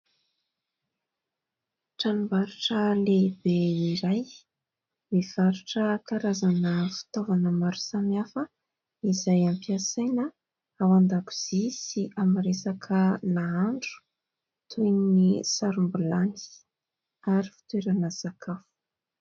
Tranombarotra lehibe iray mivarotra karazana fitaovana maro samihafa izay ampiasaina ao an-dakozia sy amin'ny resaka nahandro ; toy ny sarom-bilany ary fitoerana sakafo.